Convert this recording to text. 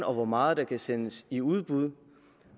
og hvor meget der kan sendes i udbud